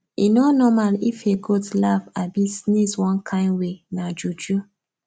e no normal if a goat laugh abi sneez one kind way nah juju